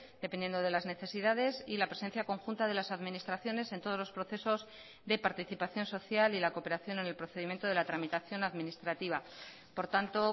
dependiendo de las necesidades y la presencia conjunta de las administraciones en todos los procesos de participación social y la cooperación en el procedimiento de la tramitación administrativa por tanto